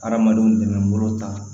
Adamadenw tɛmɛnen bolo ta